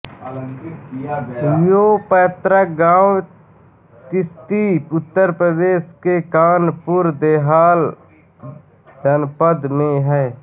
यों पैतृक गाँव तिश्ती उत्तर प्रदेश के कानपुरदेहात जनपद में है